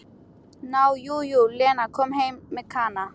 Nú já, jú, Lena kom heim með Kana.